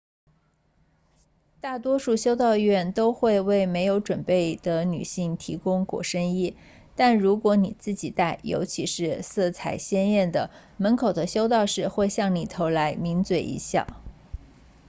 大多数修道院都会为没有准备的女性提供裹身衣但如果你自己带尤其是颜色鲜艳的门口的修道士会向你投来抿嘴一笑